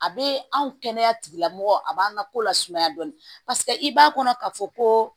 A bɛ anw kɛnɛya tigilamɔgɔ a b'an ka ko lasumaya dɔɔnin i b'a kɔnɔ ka fɔ ko